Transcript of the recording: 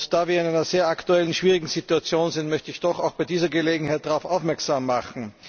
Da wir in einer aktuell sehr schwierigen Situation sind, möchte ich doch bei dieser Gelegenheit darauf aufmerksam machen.